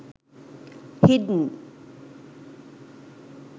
hidden